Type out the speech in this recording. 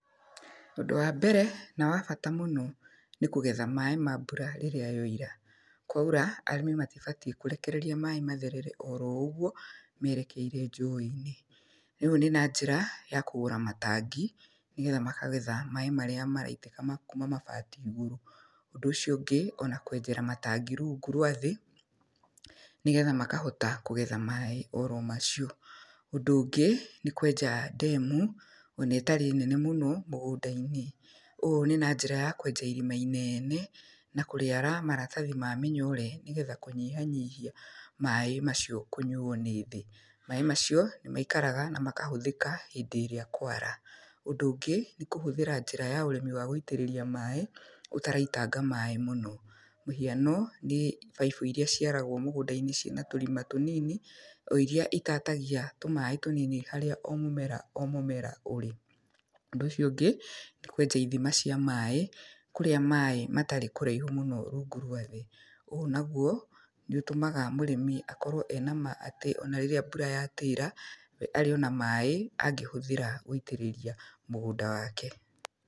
Ũndũ wa mbere na wa bata mũno, nĩ kũgetha maaĩ ma mbura rĩrĩa yoira. Kwaura, arĩmi matibatiĩ kũrekereria maaĩ matherere oro ũgwo merekeire njũĩ-inĩ. Rĩu nĩ na njĩra ya kũgũra matangi nĩgetha makagetha maaĩ marĩa maraitĩka ma kuuma mabati igũrũ. Ũndũ ũcio ũngĩ, ona kwenjera matangi rungu rwathĩ nĩgetha makahota kũgetha maaĩ oro macio. Ũndũ ũngĩ, nĩ kwenja ndemu ona ĩtarĩ nene mũno mũgũnda-inĩ. Ũũ nĩ na njĩra ya kwenja irima inene na kũrĩara maratathi ma mĩnyore nĩgetha kũnyihanyihia maaĩ macio kũnyuo nĩ thĩ. Maaĩ macio nĩ maikaraga na makahũthĩka hĩndĩ ĩrĩa kwara. Ũndũ ũngĩ, nĩ kũhũthĩra njĩra ya ũrĩmi wa gũitĩrĩria maaĩ ũtaraitanga maaĩ mũno. Mũhiano nĩ baibũ iria ciaragwo mũgũnda-inĩ ciina tũrima tũnini, o iria itatagia tũmaaĩ tũnini harĩa o mũmera o mũmera ũrĩ. Ũndũ ũcio ũngĩ, nĩ kwenja ithima cia maaĩ kũrĩa maaĩ matarĩ kũraihu mũno rungũ rwa thĩ. Ũũ nagwo nĩ ũtũmaga mũrĩmi akorwo e na ma atĩ ona rĩrĩa mbura yatĩra we arĩ ona maaĩ angĩhũthĩra gwĩtĩrĩria mũgũnda wake.